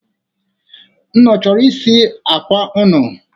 Unu choro isiji akwa unu?